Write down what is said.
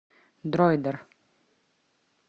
дроидер